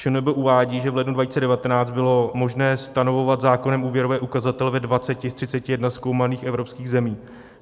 ČNB uvádí, že v lednu 2019 bylo možné stanovovat zákonem úvěrové ukazatele ve 20 z 31 zkoumaných evropských zemí.